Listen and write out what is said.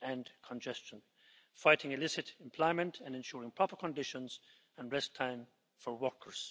and congestion, fighting illicit employment and ensuring proper conditions and rest time for workers.